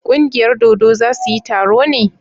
ƙungiyar dodo za su yi taro ne?